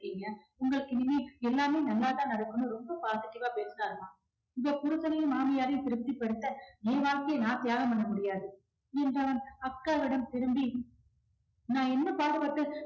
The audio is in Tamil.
உங்களுக்கு இனிமே எல்லாமே நல்லாதான் நடக்கும்னு ரொம்ப positive ஆ பேசுனாரு அம்மா இவ புருஷனையும் மாமியாரையும் திருப்தி படுத்த ஏன் வாழ்க்கையை நான் தியாகம் பண்ண முடியாது என்றான் அக்காவிடம் திரும்பி நான் என்ன பாடுபட்டு